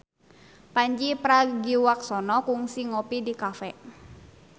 Pandji Pragiwaksono kungsi ngopi di cafe